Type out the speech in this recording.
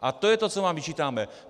A to je to, co vám vyčítáme.